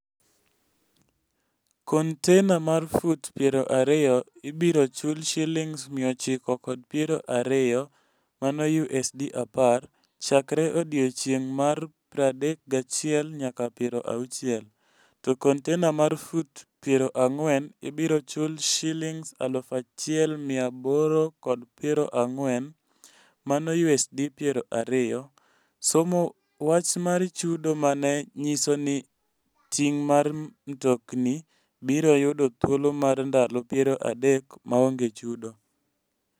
Kontainer mar fut 20 ibiro chul Sh920 (USD10) chakre odiechieng' mar 31-60, to kontainer mar fut 40 ibiro chul Sh1,840 (USD20), somo wach mar chudo ma ne nyiso ni ting' mag mtokni biro yudo thuolo mar ndalo 30 maonge chudo.